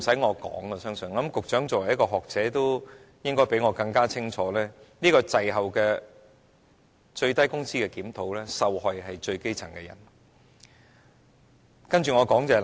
我相信局長作為一位學者應該比我認識更清楚，這個滯後的最低工資檢討，受害的是最基層的人。